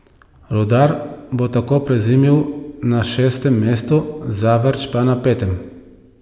Rudar bo tako prezimil na šestem mestu, Zavrč pa na petem.